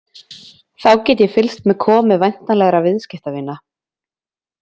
Þá get ég fylgst með komu væntanlegra viðskiptavina.